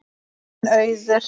Þín Auður.